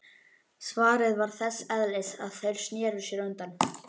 Svarið var þess eðlis að þeir sneru sér undan.